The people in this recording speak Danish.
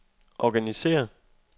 organisér